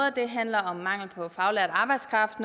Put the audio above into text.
af dem handler om mangel på faglært arbejdskraft